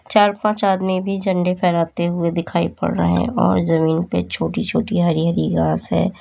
चार पांच आदमी भी झंडे फहराते हुए दिखाई पड़ रहे है और जमीन पे छोटी छोटी हरी हरी घास है।